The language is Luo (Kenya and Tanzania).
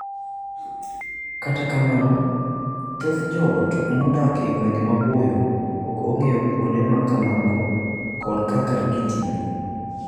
Kata kamano, thoth joot modak e gwenge maboyo ok ong'eyo kuonde ma kamago koda kaka gitiyo.